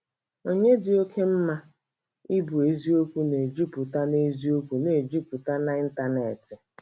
Onyinye dị oke mma - ịbụ eziokwu na-ejupụta na eziokwu na-ejupụta na ịntanetị.